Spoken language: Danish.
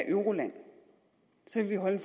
euroland så kan vi holde